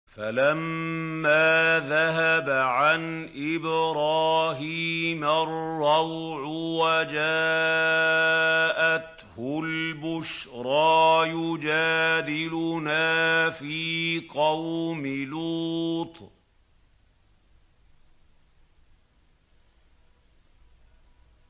فَلَمَّا ذَهَبَ عَنْ إِبْرَاهِيمَ الرَّوْعُ وَجَاءَتْهُ الْبُشْرَىٰ يُجَادِلُنَا فِي قَوْمِ لُوطٍ